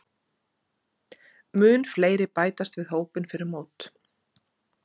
Munu fleiri bætast við hópinn fyrir mót?